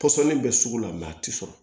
Pɔsɔni bɛ sugu la mɛ a tɛ sɔrɔ